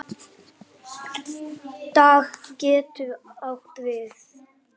Dag getur átt við